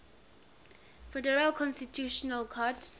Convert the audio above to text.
federal constitutional court